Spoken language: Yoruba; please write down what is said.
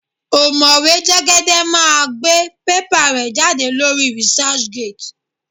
Ọ̀mọ̀wé Jẹ́gẹ́dẹ́ máa gbé pépà rẹ̀ jáde lórí researchgate.